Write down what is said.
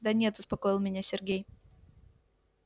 да нет успокоил меня сергей